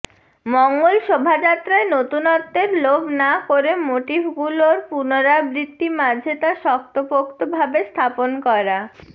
মঙ্গল শোভাযাত্রায় নতুনত্বের লোভ না করে মোটিফগুলোর পুনরাবৃত্তির মাঝে তা শক্তপোক্ত ভাবে স্থাপন করা